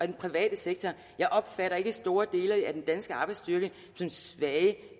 den private sektor jeg opfatter ikke store dele af den danske arbejdsstyrke som svage